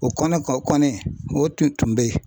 O kɛnɛ kan kɔni o tun be yen.